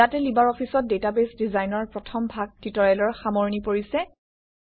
ইয়াতে লিবাৰঅফিছত ডাটাবেছ ডিজাইনৰ প্ৰথম ভাগ টিউটৰিয়েলৰ সামৰণি পৰিছে